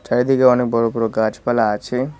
চারিদিকে অনেক বড় বড় গাছপালা আছে।